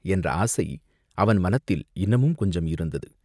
என்ற ஆசை அவன் மனத்தில் இன்னமும் கொஞ்சம் இருந்தது.